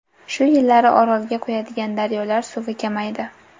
Shu yillari Orolga quyadigan daryolar suvi kamaydi.